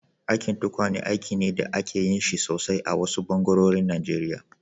Aikin tukwane aiki ne da ake yin shi sosai a wasu ɓangarorin Najeriya